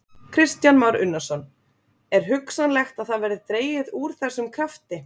Kristján Már Unnarsson: Er hugsanlegt að það verði dregið úr þessum krafti?